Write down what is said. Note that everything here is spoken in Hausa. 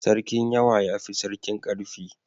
Sarkin yawa ya fi sarkin ƙarfi